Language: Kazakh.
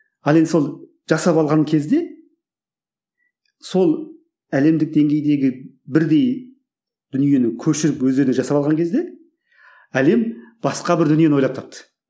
ал енді сол жасап алған кезде сол әлемдік деңгейдегі бірдей дүниені көшіріп өздеріне жасап алған кезде әлем басқа бір дүниені ойлап тапты